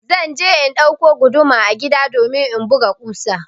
Zan je in ɗauko guduma a gida domin in buga ƙusa.